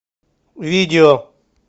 видео